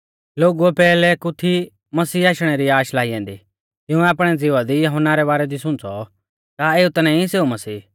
लोगुऐ पैहलै कु थी मसीह आशणै री आश लाई औन्दी तिंउऐ आपणै ज़िवा दी यहुन्ना रै बारै दी सुंच़ौ का एऊ ता नाईं सेऊ मसीह